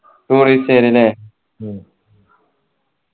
tourist അല്ലെ ഉം